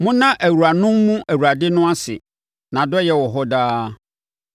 Monna awuranom mu Awurade no ase. Nʼadɔeɛ wɔ hɔ daa.